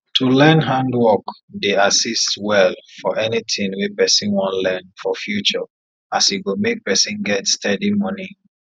to learn handwork dey assist well for anything wey person wan learn for future as e go make person get steady money